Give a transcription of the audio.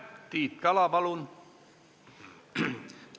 Tiit Kala, palun!